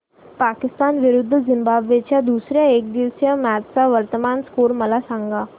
पाकिस्तान विरुद्ध झिम्बाब्वे च्या दुसर्या एकदिवसीय मॅच चा वर्तमान स्कोर मला सांगा